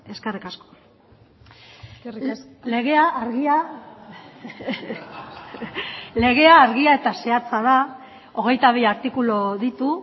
eskerrik asko eskerrik asko legea argia barreak legea argia eta zehatza da hogeita bi artikulu ditu